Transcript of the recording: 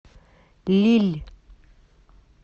лилль